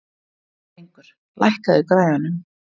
Drengur, lækkaðu í græjunum.